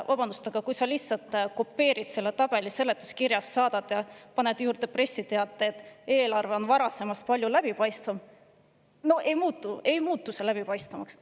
Vabandust, aga kui sa lihtsalt kopeerid ühe tabeli seletuskirjast ja paned juurde pressiteate, et eelarve on varasemast palju läbipaistvam – no see ei muutu sellega läbipaistvamaks.